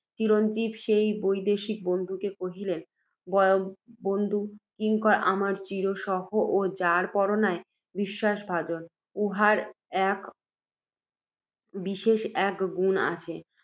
চিরঞ্জীব সেই বৈদেশিক বন্ধুকে কহিলেন, বয়স্য! কিঙ্কর আমার চিরসহচর ও যার পর নাই বিশ্বাসভাজন। উহার বিশেষ এক গুণ আছে